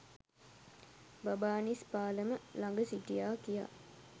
බබානිස් පාලම ළඟ සිටියා කියා